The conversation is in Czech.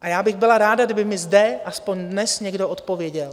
A já bych byla ráda, kdyby mi zde aspoň dnes někdo odpověděl.